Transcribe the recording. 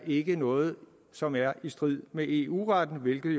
ikke er noget som er i strid med eu retten hvilket